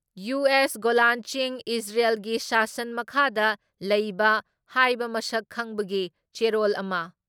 US Golan ꯆꯤꯡ ꯏꯖꯔꯦꯜꯒꯤ ꯁꯥꯁꯟ ꯃꯈꯥꯗ ꯂꯩꯕ ꯍꯥꯏꯕ ꯃꯁꯛ ꯈꯪꯕꯒꯤ ꯆꯦꯔꯣꯜ ꯑꯃ